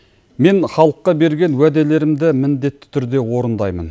мен халыққа берген уәделерімді міндетті түрде орындаймын